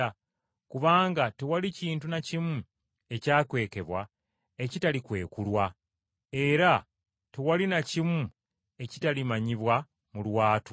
Kubanga tewali kintu na kimu ekyakwekebwa ekitalikwekulwa, era tewali na kimu ekitalimanyibwa mu lwatu.